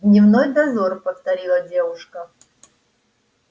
дневной дозор повторила девушка